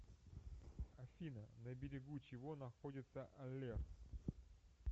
афина на берегу чего находится алерт